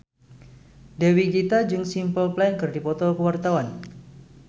Dewi Gita jeung Simple Plan keur dipoto ku wartawan